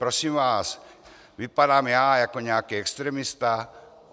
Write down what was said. Prosím vás, vypadám já jako nějaký extremista?